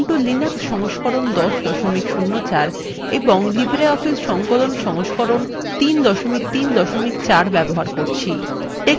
এখানে আমরা ubuntu linux সংস্করণ ১০ ০৪ এবং libreoffice সংকলন সংস্করণ ৩ ৩ ৪ ব্যবহার করছি